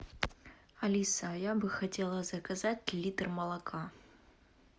алиса я бы хотела заказать литр молока